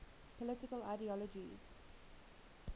political ideologies